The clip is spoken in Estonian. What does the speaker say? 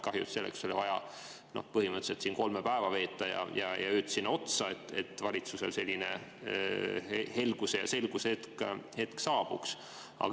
Kahju, et selleks oli vaja põhimõtteliselt siin kolm päeva veeta, ja ööd sinna otsa, et valitsusel selline helguse- ja selgusehetk saabuks.